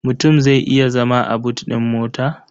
Mutum zai iya zama a but ɗin mota?